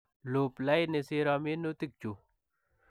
Iuup lainii siiro minutii chuu.